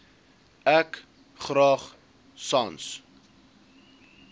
ek graag sans